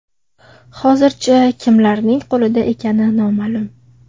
Hozircha, kimlarning qo‘lida ekani noma’lum.